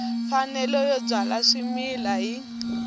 mfanelo yo byala swimila hi